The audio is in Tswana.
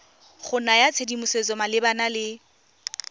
go naya tshedimosetso malebana le